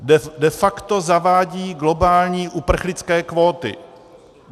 De facto zavádí globální uprchlické kvóty.